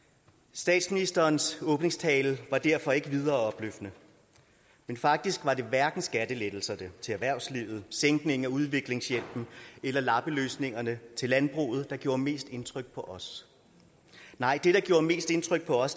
statsministerens åbningstale var derfor ikke videre opløftende men faktisk var det hverken skattelettelserne til erhvervslivet sænkningen af udviklingshjælpen eller lappeløsningerne til landbruget der gjorde mest indtryk på os nej det der gjorde mest indtryk på os